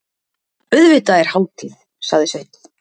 Auðvitað er hátíð, sagði Sveinn.